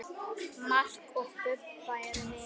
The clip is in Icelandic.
Mark og Bubba eru vinir.